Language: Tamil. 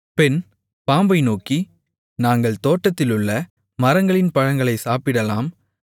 பெண் பாம்பை நோக்கி நாங்கள் தோட்டத்திலுள்ள மரங்களின் பழங்களைச் சாப்பிடலாம்